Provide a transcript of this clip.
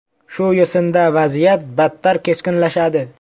Shu yo‘sinda vaziyat battar keskinlashadi.